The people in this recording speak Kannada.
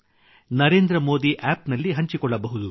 ನರೇಂದ್ರ ಮೋದಿ ಆಪ್ ನಲ್ಲಿ ಹಂಚಿಕೊಳ್ಳಬಹುದು